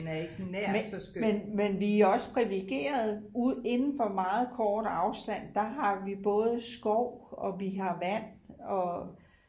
men vi er også priviligerede inden for meget kort afstand der har vi både skov og vi har vand og